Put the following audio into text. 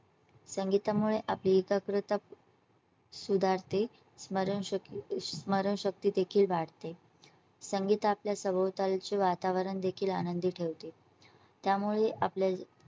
संगीतामुळे आपली एकाग्रता सुधारते स्मरण स्मरण शक्ती देखील वाढते. संगीत आपल्या सभोवतालचे वातावरण देखील आनंदी ठेवते. त्यामुळे आपल्या.